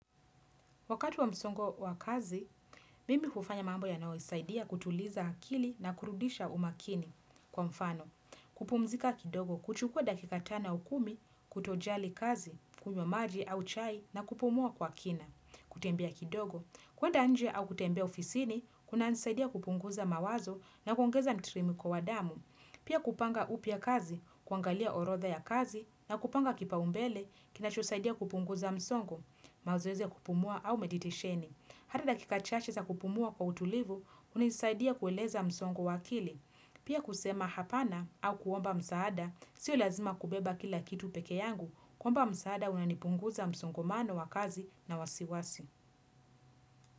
Wakati wa msongo wa kazi, mimi hufanya mambo yanayosaidia kutuliza akili na kurudisha umakini kwa mfano. Kupumzika kidogo, kuchukua dakika tano au kumi, kutojali kazi, kunywa maji au chai na kupumua kwa kina. Kutembea kidogo, kwenda nje au kutembea ofisini, kunanisaidia kupunguza mawazo na kuongeza mtiririko wa damu. Pia kupanga upya kazi, kuangalia orodha ya kazi na kupanga kipaumbele, kinachosaidia kupunguza msongo. Mazoezi ya kupumua au tafakuri. Hata dakika chache za kupumua kwa utulivu, hunisaidia kueleza msongo wa kili. Pia kusema hapana au kuomba msaada, sio lazima kubeba kila kitu peke yangu, kuomba msaada kunanipunguzia msongomano wa kazi na wasiwasi.